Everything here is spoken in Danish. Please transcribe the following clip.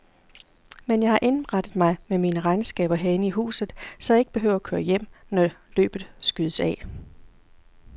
Men jeg har indrettet mig med mine regnskaber herinde i huset, så jeg ikke behøver at køre hjem, når løbet skydes af.